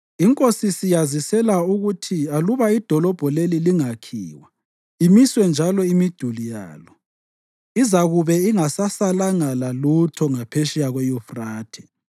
Inkosi siyazisela ukuthi aluba idolobho leli lingakhiwa, imiswe njalo imiduli yalo, izakube ingasasalanga lalutho ngaphetsheya kweYufrathe.